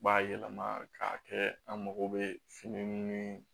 B'a yɛlɛma k'a kɛ an mago bɛ fini ni